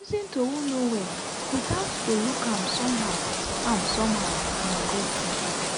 to lis ten to who no well without to look am somehow am somehow na good thing.